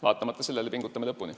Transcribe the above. Nii et me pingutame lõpuni.